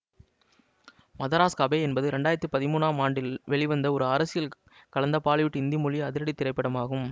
Madras cafe என்பது இரண்டு ஆயிரத்தி பதிமூன்னாம் ஆண்டில் வெளிவந்த ஒரு அரசியல் கலந்த பாலிவுட் இந்தி மொழி அதிரடி திரைப்படம் ஆகும்